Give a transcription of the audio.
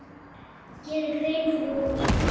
geri grein fyrir honum?